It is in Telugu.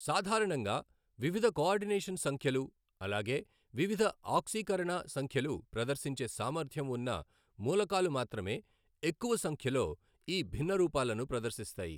సాధారణంగా వివిధ కొఆర్డినేషన్ సంఖ్యలు అలాగే వివిధ ఆక్సీకరణ సంఖ్యలు ప్రదర్శించే సామర్థ్యం వున్న మూలకాలు మాత్రమే ఎక్కువ సంఖ్యలో ఈ భిన్నరూపాలను ప్రదర్శిస్తాయి.